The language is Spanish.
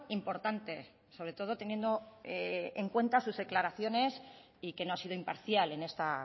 importante sobre todo teniendo en cuenta sus declaraciones y que no ha sido imparcial en esta